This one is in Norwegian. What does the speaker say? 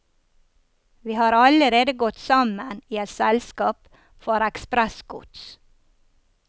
Vi har allerede gått sammen i et selskap for ekspressgods.